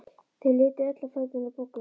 Þau litu öll á fæturna á Boggu.